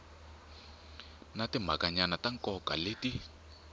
na timhakanyana ta nkoka leti